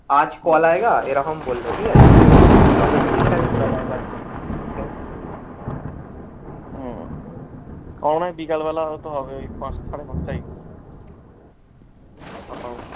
আজ call এরকম বলল ঠিকাছে। আমি বললাম ঠিকাছে call আমার মনে হয় বিকেল বেলা হয়তো হবে পাঁচটা, সাড়ে পাঁচটা